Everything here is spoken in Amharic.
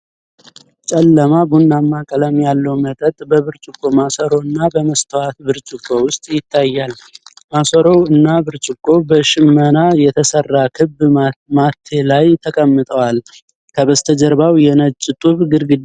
ጨለማ፣ ቡናማ ቀለም ያለው መጠጥ በብርጭቆ ማሰሮ እና በመስታወት ብርጭቆ ውስጥ ይታያል። ማሰሮው እና ብርጭቆው በሽመና በተሰራ ክብ ማቴ ላይ ተቀምጠዋል፣ ከበስተጀርባው የነጭ ጡብ ግድግዳ አለ።